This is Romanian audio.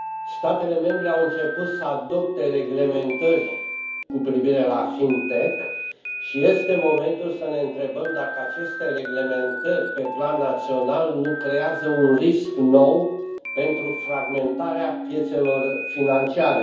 Statele membre au început să adopte reglementări cu privire la FinTech și este momentul să ne întrebăm dacă aceste reglementări pe plan național nu creează un risc nou pentru fragmentarea piețelor financiare.